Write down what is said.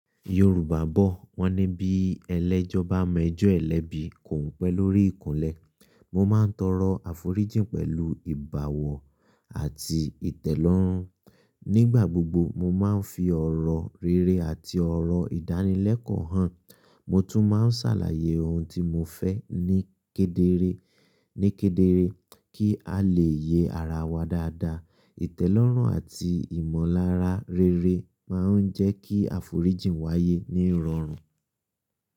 Yorùbá bọ̀, wọ́n ní bí ẹlẹ́jọ́ bá mọ ẹjọ́ ẹ lẹ́bi, kòún pẹ́ lórí ìkùnlẹ̀. Mo máa ń tọrọ àforíjìn pẹ̀lú ìbáwọ̀ àti ìtẹ́lọ́rùn. Nígbà gbogbo, mo máa ń fi ọ̀rọ̀ rere àti ọ̀rọ̀ ìdánilẹ́kọ̀ọ́ hàn. Mo tún máa ń ṣàlàyé ohun tí mo fẹ́ ní kédeere, ní kédeere kí a lè yẹ ara wa dáadáa. Ìtẹ́lọ́rùn àti ìmọ̀lára rere máa ń jẹ́ kí àforíjìn wáyé ní irọrùn.